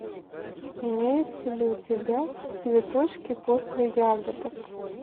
имеется ли у тебя цветочки после ягодок